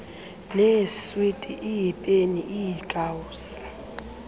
neeswiti iipeni iikawusi